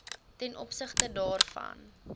ten opsigte daarvan